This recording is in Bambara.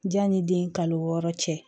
Janni den kalo wɔɔrɔ cɛ